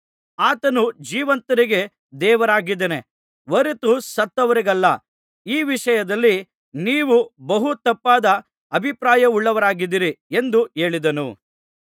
ಆತನು ಜೀವಂತರಿಗೆ ದೇವರಾಗಿದ್ದಾನೆ ಹೊರತು ಸತ್ತವರಿಗಲ್ಲ ಈ ವಿಷಯದಲ್ಲಿ ನೀವು ಬಹು ತಪ್ಪಾದ ಅಭಿಪ್ರಾಯವುಳ್ಳವರಾಗಿದ್ದಿರಿ ಎಂದು ಹೇಳಿದನು